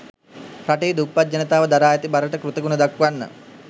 රටේ දුප්පත් ජනතාව දරා ඇති බරට කෘතගුණ දක්වන්න